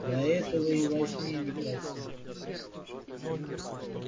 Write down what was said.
да этого и во сне не проси